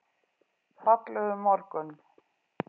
Fallegur morgun!